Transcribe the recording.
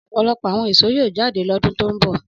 Ọ̀pọ̀lọpọ̀ àwọn èso yóò jáde lọ́dún tó ń bọ̀.